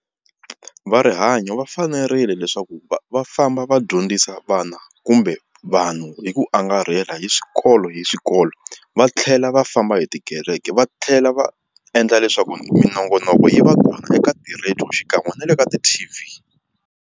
Va rihanyo va fanerile leswaku va va famba va dyondzisa vana kumbe vanhu hi ku angarhela hi xikolo hi xikolo va tlhela va famba hi tikereke va tlhela va endla leswaku minongonoko yi va kona eka ti-radio xikan'we na le ka ti-T_V.